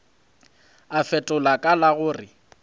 a fetola ka la gore